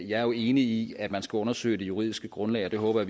jeg er enig i at man skal undersøge det juridiske grundlag og det håber